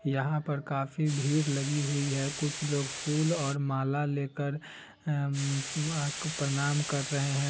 यहाँ पर काफी भीड़ लगी हुई है कुछ लोग फूल और माला लेकर अम माँ को प्रणाम कर रहे है।